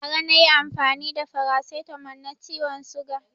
Bara na yi amfani da farasitamo ma ciwon suga